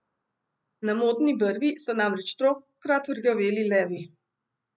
Na modni brvi so namreč tokrat rjoveli levi!